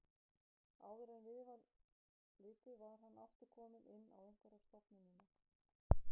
Áður en við var litið var hann aftur kominn inn á einhverja stofnunina.